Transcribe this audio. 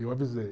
Eu avisei.